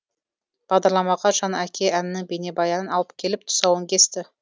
бағдарламаға жан әке әнінің бейнебаянын алып келіп тұсауын кесті